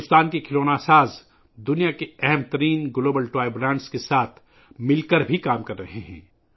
بھارت کے کھلونا بنانے والے بھی دنیا کے معروف عالمی کھلونا برانڈز کے ساتھ مل کر کام کر رہے ہیں